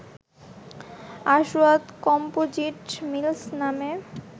আসওয়াদ composite mills নামে